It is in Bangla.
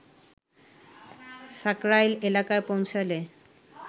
সাকরাইল এলাকায় পৌছলে